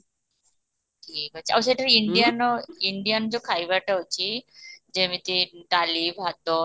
ଠିକ ଅଛି ଆଉ ସେଠି indian ର indian ଯୋଉ ଖାଇବାଟା ଅଛି ଯେମିତି ଡାଲି ,ଭାତ